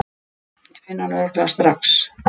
Ég finn hann örugglega strax.